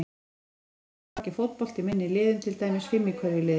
Í öðru lagi spila margir fótbolta í minni liðum, til dæmis fimm í hverju liði.